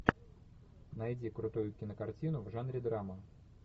найди крутую кинокартину в жанре драма